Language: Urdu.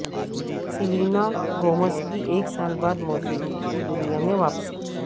سیلینا گومز کی ایک سال بعد موسیقی کی دنیا میں واپسی